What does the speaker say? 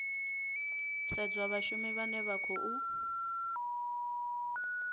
sedzwa vhashumi vhane vha khou